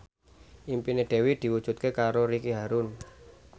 impine Dewi diwujudke karo Ricky Harun